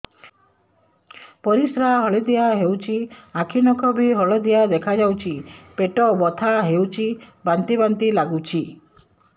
ପରିସ୍ରା ହଳଦିଆ ହେଉଛି ଆଖି ନଖ ବି ହଳଦିଆ ଦେଖାଯାଉଛି ପେଟ ବଥା ହେଉଛି ବାନ୍ତି ବାନ୍ତି ଲାଗୁଛି